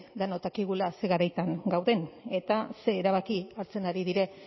denok dakigula zer garaitan gauden eta zer erabaki hartzen ari diren